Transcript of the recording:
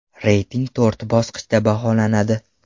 Reyting to‘rt bosqichda baholanadi.